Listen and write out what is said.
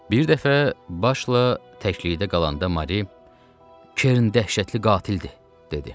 Bir dəfə başla təklikdə qalanda Mari: "Kern dəhşətli qatildir," dedi.